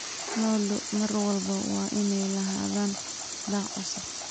Lo'du mar walba waa inay lahaadaan daaq cusub.